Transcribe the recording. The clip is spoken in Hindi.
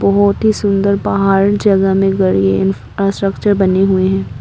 बहुत ही सुंदर पहाड़ जगह में इंफ्रास्ट्रक्चर बने हुए हैं।